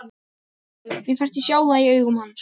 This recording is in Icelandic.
Mér fannst ég sjá það í augum hans.